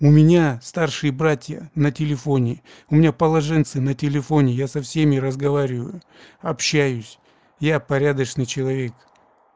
у меня старшие братья на телефоне у меня положенцы на телефоне я со всеми разговариваю общаюсь я порядочный человек